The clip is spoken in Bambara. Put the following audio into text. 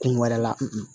Kun wɛrɛ la